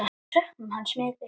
Við söknum hans mikið.